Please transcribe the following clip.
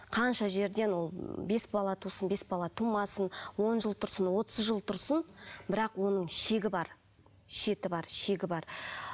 қанша жерден ол бес бала тусын бес бала тумасын он жыл тұрсын отыз жыл тұрсын бірақ оның шегі бар шеті бар шегі бар